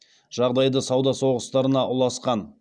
жағдайды сауда соғыстарына ұласқан